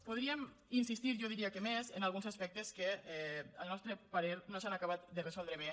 podríem insistir jo diria que més en alguns aspec· tes que al nostre parer no s’han acabat de resoldre bé